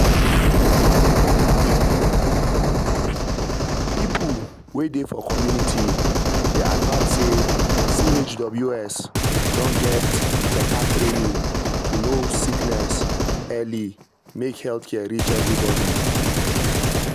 people wey dey for community dey advised say chws don get beta training to know sickness early make health care reach everybody.